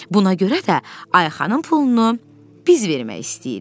Buna görə də Ayxanın pulunu biz vermək istəyirik.